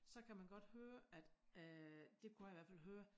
Så kan man godt høre at øh det kunne jeg i hvert fald høre